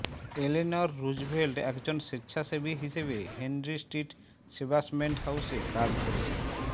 Eleanor Roosevelt একজন স্বেচ্ছাসেবী হিসেবে হেনরি স্ট্রীট সেবাসমেন্ট হাউসে কাজ করেছেন